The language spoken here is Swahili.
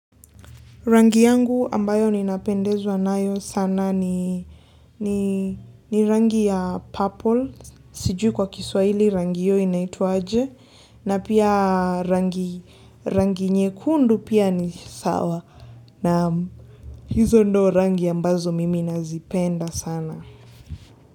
Rangi yangu ambayo ninapendezwa nayo sana ni ni rangi ya purple. Sijui kwa kiswahili rangi hiyo inaitwaje. Na pia rangi nyekundu pia ni sawa. Naam, hizo ndo rangi ambazo mimi nazipenda sana.